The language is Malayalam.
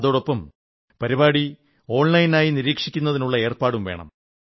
അതോടൊപ്പം പരിപാടി ഓൺലൈനായി നിരീക്ഷിക്കുന്നതിനുള്ള ഏർപ്പാടും വേണം